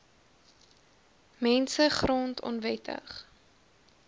mense grond onwettig